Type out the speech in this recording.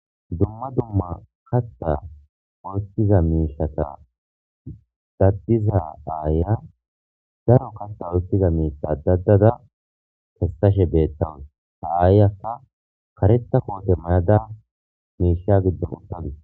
Dumma dumma kaththa oothiza miishshat kathiza aayiya daro katha oykiza miishshata ache uttada kaththashe de7iyayssa kaayiyakka kareththa koote mayada miishsha giddo uttadus.